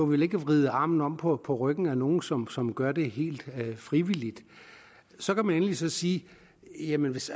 vel ikke at vride armen om på ryggen af nogen som som gør det helt frivilligt så kan man endelig sige jamen hvis